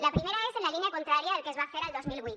la primera és en la línia contrària del que es va fer al dos mil vuit